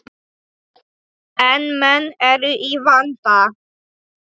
En menn eru í vanda.